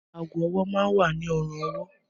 Aago-ọwọ́ máa ń wà ní ọrùn-ọwọ́